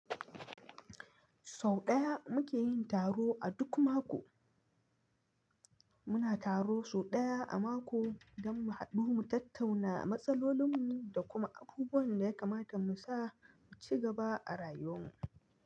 Sau ɗaya muke yin taro a duk mako. Muna taro sau ɗaya a mako don mu haɗu mu tattauna matsalolinmu da kuma abubuwan da ya kamata mu sa mu ci gaba a rayuwanmu.